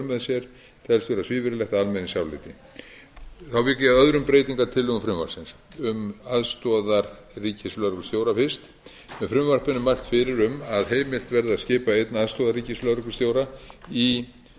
með telst vera svívirðilegt að almenningsáliti þá vík ég að öðrum breytingartillögum frumvarpsins um aðstoðarríkislögreglustjóra fyrst með frumvarpinu er mælt fyrir um að heimilt verði að skipa einn aðstoðarríkislögreglustjóra í